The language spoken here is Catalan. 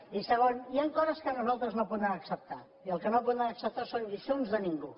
i segon hi han coses que nosaltres no podem acceptar i el que no podem acceptar són lliçons de ningú